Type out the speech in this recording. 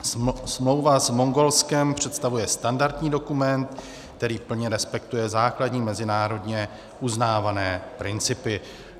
Smlouva s Mongolskem představuje standardní dokument, který plně respektuje základní mezinárodně uznávané principy.